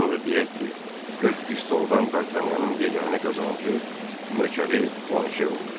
Onu da deyək ki, 40 pistoldan Dartanyanın yeganə qazancı nökəri planşe oldu.